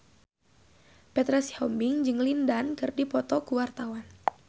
Petra Sihombing jeung Lin Dan keur dipoto ku wartawan